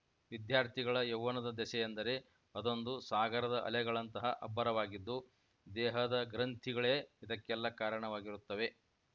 ವಿದ್ಯಾರ್ಥಿಗಳ ಯವ್ವನದ ದೆಸೆಯೆಂದರೆ ಅದೊಂದು ಸಾಗರದ ಅಲೆಗಳಂತಹ ಅಬ್ಬರವಾಗಿದ್ದು ದೇಹದ ಗ್ರಂಥಿಗಳೇ ಇದಕ್ಕೆಲ್ಲಾ ಕಾರಣವಾಗಿರುತ್ತವೆ